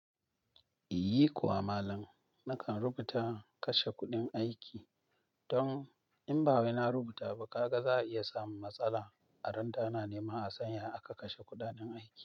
Yi kuwa malam, nakan rubuta kashe kuɗin aiki don in ba wai na rubuta ba, kaga za a iya samun matsala a ran da ana nema a san yadda aka kashe kuɗanen aiki.